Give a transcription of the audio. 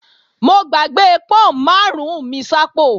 Mo gbàgbé pọ́n máàrún mi sápò